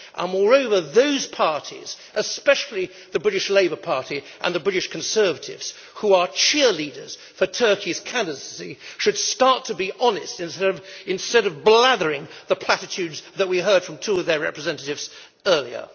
Moreover those parties, especially the British Labour Party and the British Conservatives, who are cheerleaders for Turkey's candidacy, should start to be honest instead of blathering the platitudes that we heard from two of their representatives earlier.